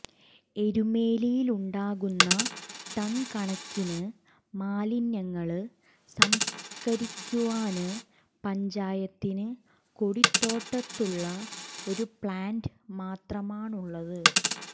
എരുമേലിയിലുണ്ടാകുന്ന ടണ്കണക്കിന് മാലിന്യങ്ങള് സംസ്കരിക്കുവാന് പഞ്ചായത്തിന് കൊടിത്തോട്ടത്തുള്ള ഈ പ്ലാന്റ് മാത്രമാണുള്ളത്